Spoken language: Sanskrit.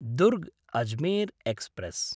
दुर्ग्–अजमेर् एक्स्प्रेस्